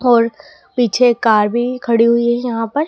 और पीछे कार भी खड़ी हुई है यहां पर।